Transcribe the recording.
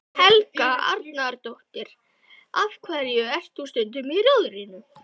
Helga Arnardóttir: Af hverju ert þú stundum í Rjóðrinu?